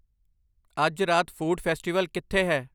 ਅੱਜ ਰਾਤ food festival ਕਿੱਥੇ ਹੈ